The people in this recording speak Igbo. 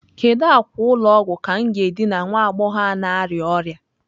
Kedu akwa ụlọ ọgwụ ka m ga-edina nwa agbọghọ ahụ na-arịa ọrịa?